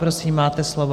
Prosím, máte slovo.